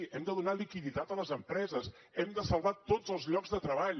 hem de donar liquiditat a les empreses hem de salvar tots els llocs de treball